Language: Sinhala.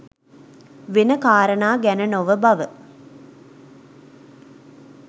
වෙන කාරණා ගැන නොව බව